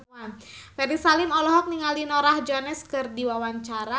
Ferry Salim olohok ningali Norah Jones keur diwawancara